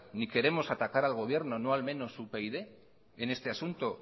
ni queremos atacar al gobierno no al menos upyd en este asunto